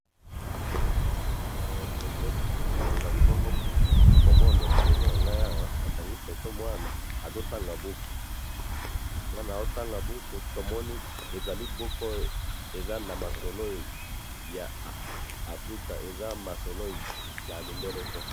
Mwana azo tanga buku ya Africa.